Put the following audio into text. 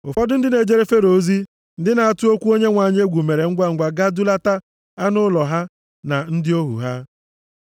Ụfọdụ ndị na-ejere Fero ozi, ndị na-atụ okwu Onyenwe anyị egwu mere ngwangwa gaa dulata anụ ụlọ ha, na ndị ohu ha.